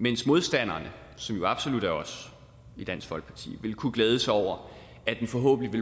mens modstanderne som jo absolut er os i dansk folkeparti vil kunne glæde sig over at den forhåbentlig vil